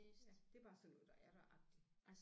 Ja det er bare sådan noget der er der agtigt